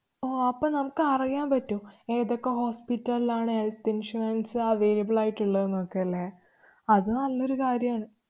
ഓ അപ്പം നമ്മക്ക് അറിയാന്‍ പറ്റും. ഏതൊക്കെ hospital ല് ലാണ് health insurance available ആയിട്ടുള്ളത് എന്നൊക്കെ ല്ലേ. അത് നല്ലൊരു കാര്യാണ്.